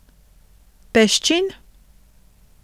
Peščin.